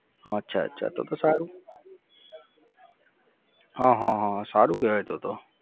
અચ્છા અચ્છા અચ્છા. તો તો સારું, હં હં હં સારું કેવાય તો તો